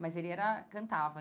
mas ele era cantava.